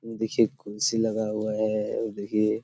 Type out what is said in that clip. देखिए कुर्सी लगा हुआ है और देखिए।